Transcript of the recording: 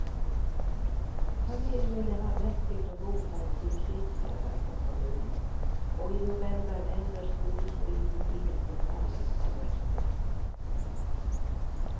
Familiene har nektet å godta en tilsynslærer fra kommunen og i november ender skolestriden i den lokale herredsretten.